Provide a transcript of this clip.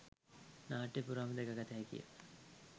නාට්‍ය පුරාම දැක ගත හැකිය.